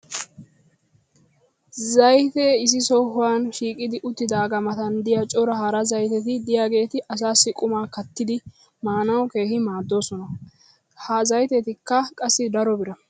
zaytee issi sohuwan shiiqqidi uttidaagaa matan diya cora hara zaytetti diyaageeti asaassi qumaa kattidi maanawu keehi maaddoosona. ha zayteekka qassi daro bira.